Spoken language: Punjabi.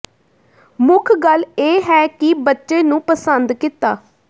ਮੁੱਖ ਗੱਲ ਇਹ ਹੈ ਕਿ ਬੱਚੇ ਨੂੰ ਪਸੰਦ ਕੀਤਾ